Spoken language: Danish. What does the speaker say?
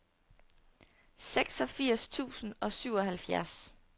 seksogfirs tusind og syvoghalvfjerds